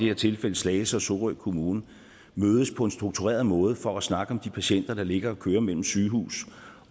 her tilfælde slagelse og sorø kommuner mødes på en struktureret måde for at snakke om de patienter der ligger og kører mellem sygehus